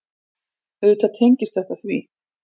Auðvitað tengist þetta því.